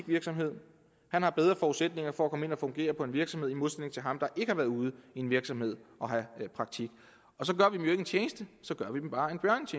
virksomhed har bedre forudsætninger for at komme ind og fungere på en virksomhed end ham der ikke har været ude i en virksomhed og have praktik så gør vi dem en tjeneste så gør